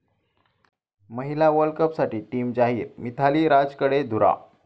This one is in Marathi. महिला वर्ल्ड कपसाठी टीम जाहीर, मिथाली राजकडे धुरा